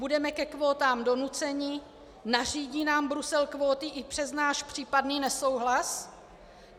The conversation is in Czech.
Budeme ke kvótám donuceni, nařídí nám Brusel kvóty i přes náš případný nesouhlas?